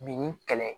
Bin ni kɛlɛ